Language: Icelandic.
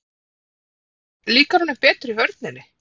En líkar honum betur í vörninni?